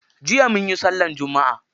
Jiya munyi sallar Jumma'a.